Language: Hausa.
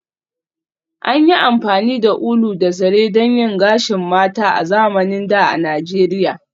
An yi amfani da ulu da zare don yin gashin mata a zamanin da a Nijeriya